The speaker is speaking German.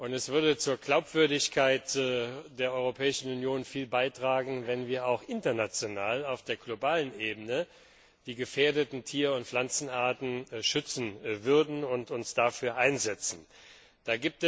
Es würde viel zur Glaubwürdigkeit der Europäischen Union beitragen, wenn wir auch international, auf der globalen Ebene, die gefährdeten Tier und Pflanzenarten schützen und uns dafür einsetzen würden.